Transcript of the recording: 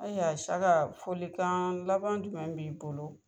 Aya SIYAKA folikan laban jumɛn b'i bolo?